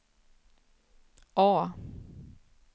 A